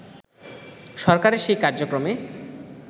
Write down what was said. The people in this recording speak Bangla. সরকারের সেই কার্যক্রমে